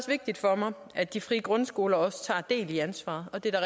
vigtigt for mig at de frie grundskoler også tager del i ansvaret og det er